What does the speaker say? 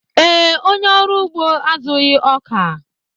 Ee, onye ọrụ ugbo azụghị ọka